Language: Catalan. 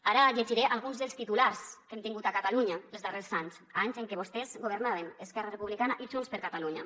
ara llegiré alguns dels titulars que hem tingut a catalunya els darrers anys anys en què vostès governaven esquerra republicana i junts per catalunya